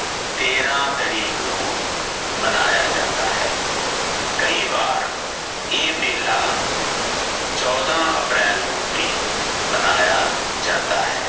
ਤੇਰਾ ਤਾਰੀਕ ਨੂੰ ਮਨਾਯਾ ਜਾਂਦਾ ਹੈ ਕਈ ਵਾਰ ਏ ਮੇਲਾ ਚੋਦਾ ਅਪ੍ਰੈਲ ਨੂੰ ਵੀ ਮ ਮਨਾਯਾ ਜਾਂਦਾ ਹੈ